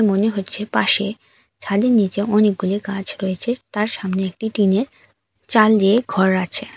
মনে হচ্ছে পাশে ঝালির নীচে অনেকগুলি গাছ রয়েছে তার সামনে একটি টিনের চাল দিয়ে ঘর আছে।